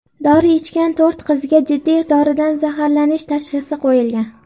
Dori ichgan to‘rt qizga jiddiy doridan zaharlanish tashxisi qo‘yilgan.